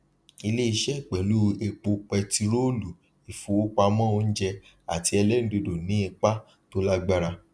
ilé iṣẹ pẹlú epo pẹtirólu ifowopamọ oúnjẹ àti ẹlẹrindodo ní ipa tó lágbára